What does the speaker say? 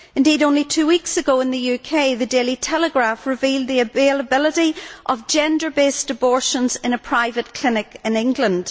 Indeed, only two weeks ago in the UK, the Daily Telegraph revealed the availability of gender based abortions in a private clinic in England.